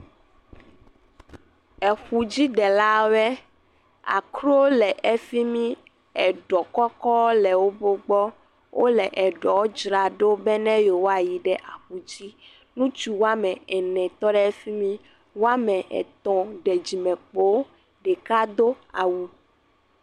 Eƒudzidelawɔe, akro le efi mi, eɖɔ kɔkɔ le wo gbɔ, wole eɖɔ dzraɖo be yewoayi aƒu dzi, ŋutsu woame ene tɔ ɖe efi mi, woame etɔ̃ ɖe dzimekpo, ɖeka do awu.